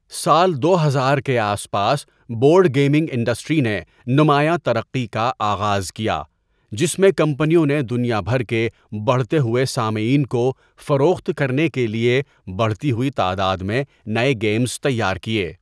سال دو ہزار کے آس پاس بورڈ گیمنگ انڈسٹری نے نمایاں ترقی کا آغاز کیا جس میں کمپنیوں نے دنیا بھر کے بڑھتے ہوئے سامعین کو فروخت کرنے کےلئے بڑھتی ہوئی تعداد میں نئے گیمز تیار کیے۔